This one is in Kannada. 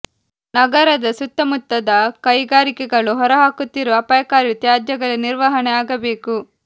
ನಗರದ ಸುತ್ತ ಮುತ್ತದ ಕೈಗಾರಿಕೆಗಳು ಹೊರಹಾಕುತ್ತಿರುವ ಅಪಾಯಕಾರಿ ತ್ಯಾಜ್ಯಗಳ ನಿರ್ವಹಣೆ ಆಗಬೇಕು